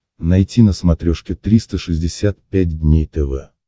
найти на смотрешке триста шестьдесят пять дней тв